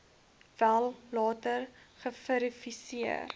wel later geverifieer